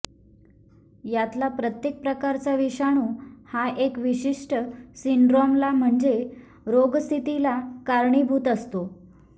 यातला प्रत्येक प्रकारचा विषाणू हा एक विशिष्ट सिंड्रोमला म्हणजे रोगस्थितीला कारणीभूत असतो